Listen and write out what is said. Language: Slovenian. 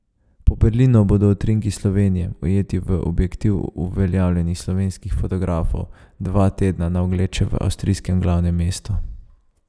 Po Berlinu bodo utrinki Slovenije, ujeti v objektiv uveljavljenih slovenskih fotografov, dva tedna na ogled še v avstrijskem glavnem mestu.